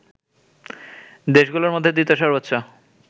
দেশগুলোর মধ্যে দ্বিতীয় সর্বোচ্চ